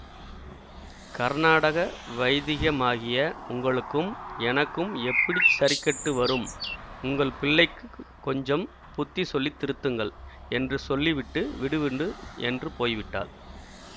கர்நாடக வைதிகமாகிய உங்களுக்கும் எனக்கும் எப்படி சரிக்கட்டு வரும் உங்கள் பிள்ளைக்குக் கொஞ்சம் புத்தி சொல்லி திருத்துங்கள் என்று சொல்லிவிட்டு விடு என்று போய்விட்டாள்